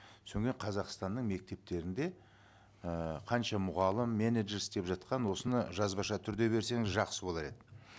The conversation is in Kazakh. соңымен қазақстанның мектептерінде ііі қанша мұғалім менеджер істеп жатқанын осыны жазбаша түрде берсеңіз жақсы болар еді